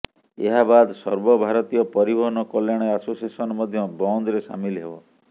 ଏହାବାଦ ସର୍ବଭାରତୀୟ ପରିବହନ କଲ୍ୟାଣ ଆସୋସିଏସନ ମଧ୍ୟ ବନ୍ଦରେ ସାମିଲ ହେବ